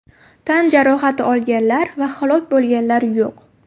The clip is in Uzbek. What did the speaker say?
Tan jarohati olganlar va halok bo‘lganlar yo‘q.